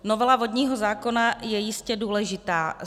Novela vodního zákona je jistě důležitá.